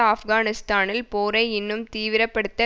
ஆப்கானிஸ்தானில் போரை இன்னும் தீவிரப்படுத்த